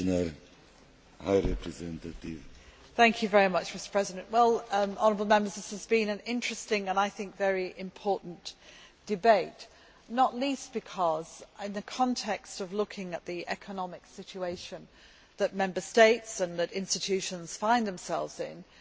Mr President, this has been an interesting and I think very important debate, not least because, in the context of looking at the economic situation that Member States and institutions find themselves in, it is absolutely vital that we discuss